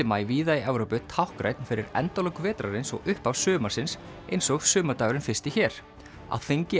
maí víða í Evrópu táknrænn fyrir endalok vetrarins og upphaf sumarsins eins og sumardagurinn fyrsti hér á þingi